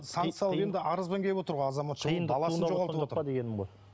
санкция енді арызбен келіп отыр ғой азаматша